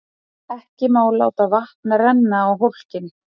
Skotið á sænska lögreglu